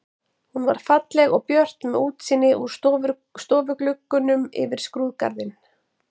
Hún var falleg og björt með útsýni úr stofugluggunum yfir skrúðgarðinn.